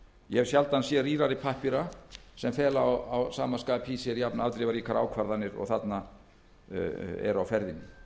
ég hef sjaldan séð rýrari pappíra sem fela að sama skapi í sér jafnafdrifaríkar ákvarðanir og þarna eru á ferðinni